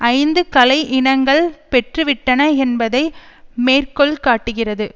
ஐந்து களை இனங்கள் பெற்றுவிட்டன என்பதை மேற்கோள்காட்டுகிறது